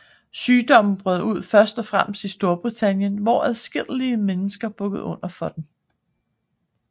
Sygdommen brød ud først og fremmest i Storbritannien hvor adskillige mennesker bukkede under for den